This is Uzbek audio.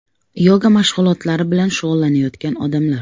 Yoga mashg‘ulotlari bilan shug‘ullanayotgan odamlar.